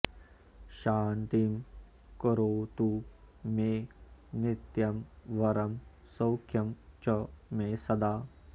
शान्तिं करोतु मे नित्यं वरं सौख्यं च मे सदा